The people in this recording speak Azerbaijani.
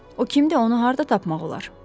O kimdir, onu harda tapmaq olar?